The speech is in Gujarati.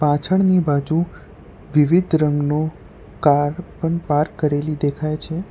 પાછળની બાજુ વિવિધ રંગનુ કાર પણ પાર્ક કરેલી દેખાય છે.